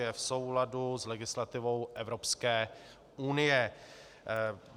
Je v souladu s legislativou Evropské unie.